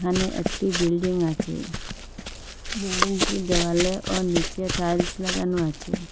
এখানে একটি বিল্ডিং আছে বিল্ডিংটির দেওয়ালে ও নীচে টাইলস লাগানো আছে।